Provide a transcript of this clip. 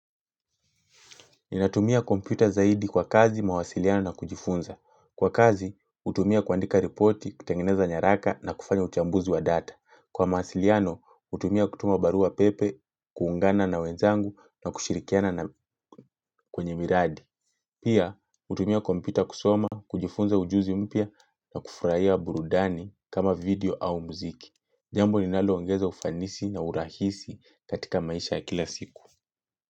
Ninatumia kompyuta zaidi kwa kazi mawasiliano na kujifunza. Kwa kazi, hutumia kuandika ripoti, kutengeneza nyaraka na kufanya uchambuzi wa data. Kwa mawasiliano, hutumia kutuma barua pepe, kuungana na wenzangu na kushirikiana na kwenye miradi. Pia, hutumia kompita kusoma, kujifunza ujuzi mpia na kufurahia burudani kama video au mziki. Jambo linaloongeza ufanisi na urahisi katika maisha ya kila siku.